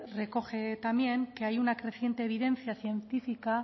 recoge también que hay una creciente evidencia científica